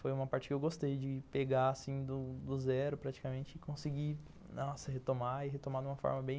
Foi uma parte que eu gostei de pegar assim do do zero praticamente e conseguir retomar e retomar uma forma bem...